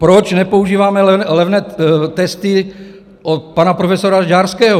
Proč nepoužíváme levné testy od pana profesora Žďárského?